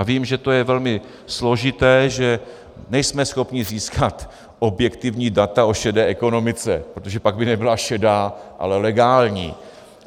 A vím, že to je velmi složité, že nejsme schopni získat objektivní data o šedé ekonomice, protože pak by nebyla šedá, ale legální.